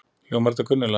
Hljómar þetta kunnulega?